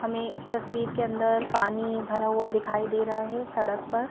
हमें इस तस्वीर के अंदर पानी भरा हुआ दिखाई दे रहा है सड़क पर।